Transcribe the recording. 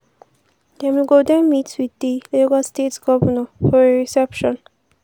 dem go den meet wit di lagos state govnor for a reception.